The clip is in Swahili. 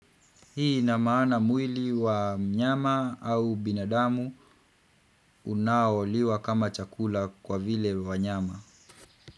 Hii ina maana mwili wa mnyama au binadamu unaoliwa kama chakula kwa vile wa nyama.